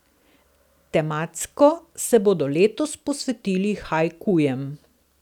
Tematsko se bodo letos posvetili haikujem.